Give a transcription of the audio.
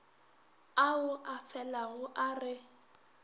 ao a felago a re